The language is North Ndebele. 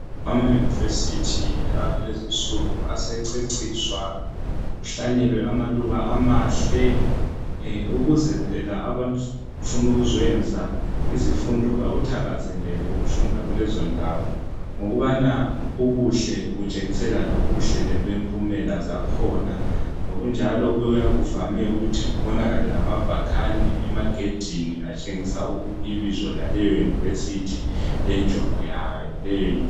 Amauniversity alezi insuku asececiswa kuhlanyelwe amaluba amahle. Ukuze phela abafuna ukuzoyenza izifundo, bakuthakazelele ukufunda kulezondawo. Ngokubana ubuhle butshengisela lobuhle bempumela zakhona. Ngokunjalo kuyabe kuvame ukuthi kubonakale lamabhakane, emagedini atshengisa ibizo laleyouniversity. Lenjongo yayo leyouniversity.